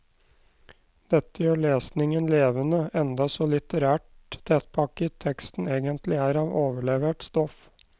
Dette gjør lesningen levende, enda så litterært tettpakket teksten egentlig er av overlevert stoff.